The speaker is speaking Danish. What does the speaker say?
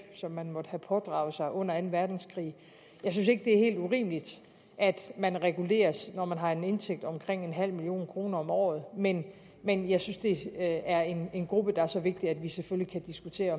som man måtte have pådraget sig under anden verdenskrig jeg synes ikke det er helt urimeligt at man reguleres når man har en indtægt på omkring nul million kroner om året men men jeg synes det er en en gruppe der er så vigtig at vi selvfølgelig kan diskutere